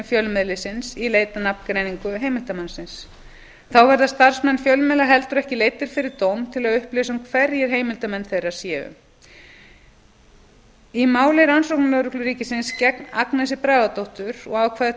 fjölmiðilsins í leit að nafngreiningu heimildarmannsins þá verða starfsmenn fjölmiðla heldur ekki leiddir fyrir dóm til að upplýsa um hverjir heimildarmenn þeirra séu eins og kom fram í máli rannsóknarlögreglu ríkisins gegn agnesi bragadóttur og ákvæði tuttugustu